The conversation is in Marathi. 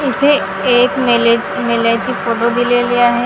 इथे एक मेले मेल्याचे फोटो दिलेले आहे.